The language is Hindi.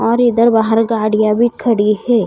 और इधर बाहर गाड़ीया भी खड़ी है।